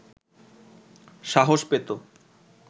সাহস পেত